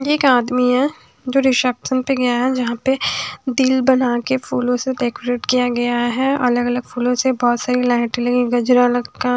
एक आदमी है जो रिसेप्शन पे गया है जहां पे दिल बनाके फूलों से डेकोरेट किया गया है अलग अलग फूलों से बहोत सारी लाइट लगी गजरा लटका--